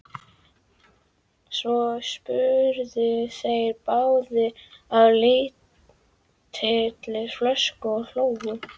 Svo supu þeir báðir á lítilli flösku og hlógu.